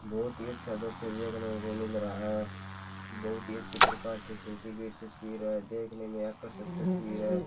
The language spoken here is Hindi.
बहुत ही अच्छा दृश्य देखने को मिल रहा है बहुत ही अच्छी प्रकार से खींची गई तस्वीर है देखने में आकर्षक तस्वीर है।